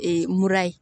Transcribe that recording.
mura ye